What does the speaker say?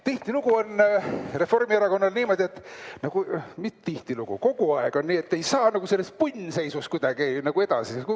Tihtilugu on Reformierakonnal niimoodi – mitte tihtilugu, vaid kogu aeg –, et ei saa sellest punnseisust kuidagi nagu edasi.